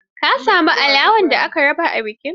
Ka sami alawar da aka raba a bikin?